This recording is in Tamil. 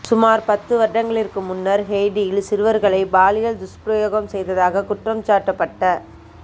சுமார் பத்து வருடங்களிற்கு முன்னர் ஹெய்ட்டியில் சிறுவர்களை பாலியல் துஸ்பிரயோகம் செய்ததாக குற்றம்சாட்டப்பட்ட